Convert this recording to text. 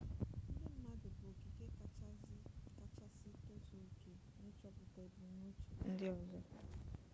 ndị mmadụ bụ okike kachasị tozuo oke n'ịchọpụta ebumnuche ndị ọzọ